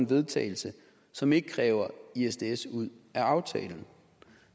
vedtagelse som ikke kræver isds isds ud af aftalen